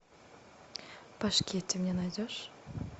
пашки ты мне найдешь